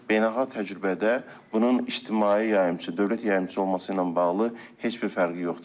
Beynəlxalq təcrübədə bunun ictimai yayımçı, dövlət yayımçı olması ilə bağlı heç bir fərqi yoxdur.